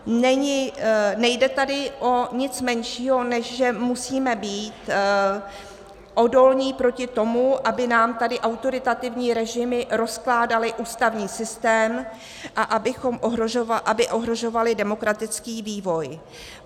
Nejde tady o nic menšího, než že musíme být odolní proti tomu, aby nám tady autoritativní režimy rozkládaly ústavní systém a aby ohrožovaly demokratický vývoj.